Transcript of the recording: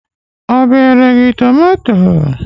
Ọ bere gị tomato?.